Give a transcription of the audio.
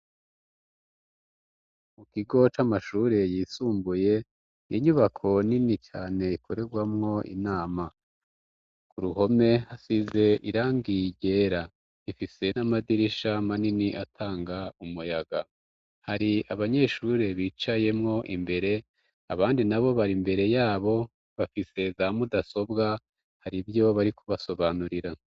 Mu kigo c'amashure yisumbuye, inyubako nini cyane ikorerwamwo inama. Ku ruhome hasize irangi ryera ifise n'amadirisha manini atanga umuyaga hari abanyeshure bicayemwo imbere abandi na bo bari mbere yabo bafise za mudasobwa hari byo bari kubasobanurira.